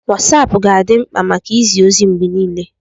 Wosapu ga-adị mkpa maka izi ozi mgbe niile.